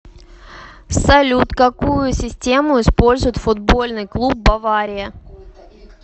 салют какую систему использует футбольный клуб бавария